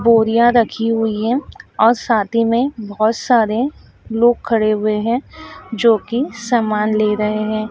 बोरियां रखी हुई हैं और साथ ही में बहोत सारे लोग खड़े हुए हैं जो की समान ले रहे हैं।